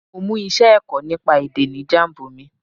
Mo mú iṣẹ́ ẹ̀kọ́ nípa èdè ní Jambu mi.